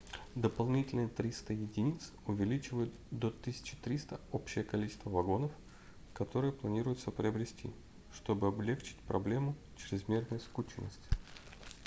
дополнительные 300 единиц увеличивают до 1300 общее количество вагонов которые планируется приобрести чтобы облегчить проблему чрезмерной скученности